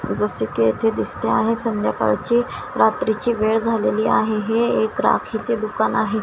जसे की येथे दिसते आहे संध्याकाळची रात्रीची वेळ झालेली आहे हे एक राखीचे दुकान आहे.